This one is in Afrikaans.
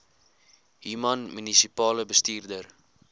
human munisipale bestuurder